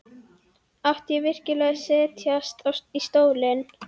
Átti ég virkilega að setjast í stólinn?